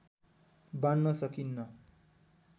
बाँड्न सकिन्न